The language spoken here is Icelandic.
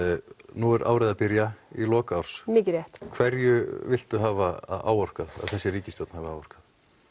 nú er árið að byrja í lok árs hverju viltu hafa áorkað að þessi ríkisstjórn hafi áorkað